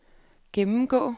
gennemgå